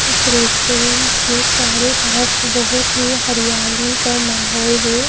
इस रेस्टोरेंट के चारों तरफ बहुत ही हरियाली का माहौल है।